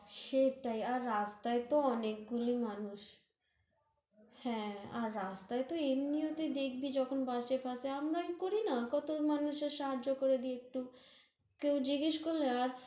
সেটাই, আর রাস্তায় তহ অনেকগুলি মানুষ হ্যাঁ, আর রাস্তায় তহ এমনিও তুই দেখবি যখন বাচেঁ-কাচেঁ, আমরা কি করি না, কত মানুষের সাহায্য় ক্রে দেই একটু, কেউ জিজ্ঞেস করলে আর